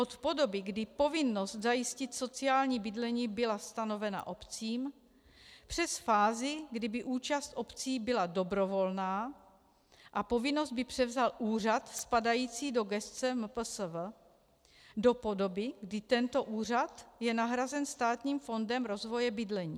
Od podoby, kdy povinnost zajistit sociální bydlení byla stanovena obcím, přes fázi, kdy by účast obcí byla dobrovolná a povinnost by převzal úřad spadající do gesce MPSV, do podoby, kdy tento úřad je nahrazen Státním fondem rozvoje bydlení.